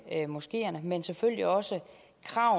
moskeerne men selvfølgelig også